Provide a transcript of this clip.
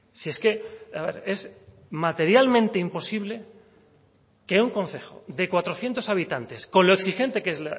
si es que es materialmente imposible que un concejo de cuatrocientos habitantes con lo exigente que es